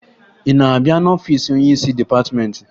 Ị na-abịa n'ọfiisi onyeisi dịpatịmentị?